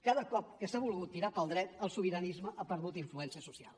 cada cop que s’ha volgut tirar pel dret el sobiranisme ha perdut influència social